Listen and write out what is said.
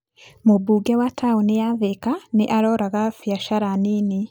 Mũmbunge wa taũni ya Thika nĩ aroraga biacara nini.